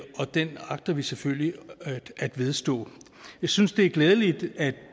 og den agter vi selvfølgelig at vedstå jeg synes det er glædeligt at